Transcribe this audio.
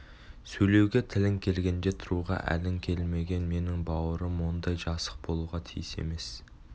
сөйлеуге тілің келгенде тұруға әлің келмеген менің бауырым ондай жасық болуға тиіс емес